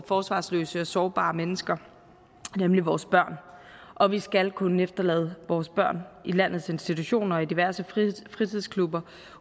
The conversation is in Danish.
forsvarsløse og sårbare mennesker nemlig vores børn og vi skal kunne efterlade vores børn i landets institutioner og i diverse fritidsklubber